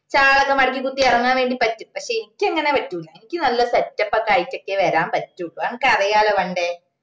shall ഒക്കെ മടക്കി കുത്തി ഇറങ്ങാൻ വേണ്ടി പറ്റും പക്ഷെ എനിക്ക് അങ്ങനെ പറ്റൂല്ല എനക്ക് നല്ല setup ഒക്കെ ആയിട്ടൊക്കെ വരാൻ പറ്റു അത്അനക്കറിയാലോ പണ്ടേ